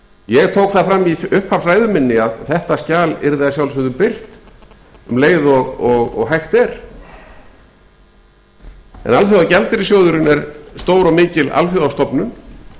ég tók það fram í upphafsræðu minn að þetta skjal yrði að sjálfsögðu birt um leið og hægt er en alþjóðagjaldeyrissjóðurinn er stór og mikil alþjóðastofnun